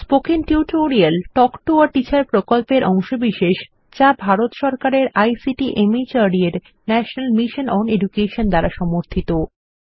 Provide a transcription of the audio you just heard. spoken tutorial talk to a teacher প্রকল্পের অংশবিশেষ যা ভারত সরকারের আইসিটি মাহর্দ এর ন্যাশনাল মিশন ওন এডুকেশন দ্বারা সমর্থিত